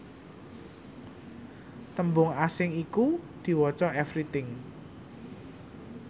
tembung asing iku diwaca everything